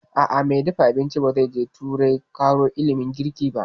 A'a, mai dafa abincin ba zai je turai ƙaro ilimin girki ba